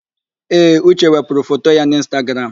Ee, Uche wepụrụ foto ya n'Ịnstagram.